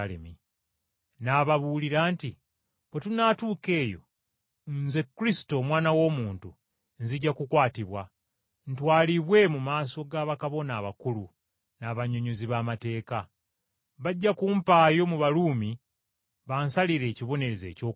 N’ababuulira nti, “Bwe tunaatuuka eyo, Omwana w’Omuntu aliweebwayo, atwalibwe mu maaso ga bakabona abakulu n’abannyonnyozi b’amateeka. Bajja kumusalira omusango ogw’okufa era balimuwaayo eri Abamawanga bamusalire ekibonerezo eky’okufa.